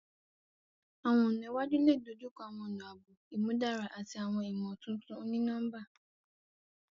Awọn ọna iwaju le dojukọ awọn ọna aabo imudara ati awọn imotuntun oni-nọmba.